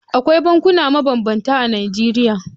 Akwai bankuna mabambanta a Najeriya.